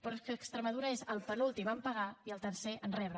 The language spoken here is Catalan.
però és que extremadura és el penúltim a pagar i el tercer a rebre